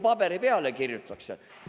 Paberi peale kirjutatakse!